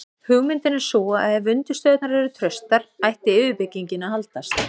hugmyndin er sú að ef undirstöðurnar eru traustar ætti yfirbyggingin að haldast